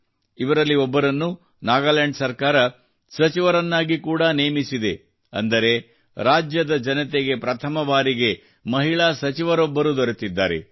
ಇವರಲ್ಲಿ ಒಬ್ಬರನ್ನು ನಾಗಾಲ್ಯಾಂಡ್ ಸರ್ಕಾರವು ಸಚಿವರನ್ನಾಗಿ ಕೂಡಾ ನೇಮಿಸಿದೆ ಅಂದರೆ ರಾಜ್ಯದ ಜನತೆಗೆ ಪ್ರಥಮ ಬಾರಿಗೆ ಮಹಿಳಾ ಸಚಿವರೊಬ್ಬರು ದೊರೆತಿದ್ದಾರೆ